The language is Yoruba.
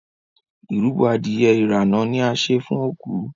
ìrúbo Adìyẹ irana ní a ṣe fún oku.